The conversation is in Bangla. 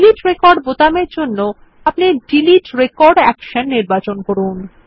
ডিলিট রেকর্ড বোতাম এর জন্য আপনি ডিলিট রেকর্ড অ্যাকশন নির্বাচন করুন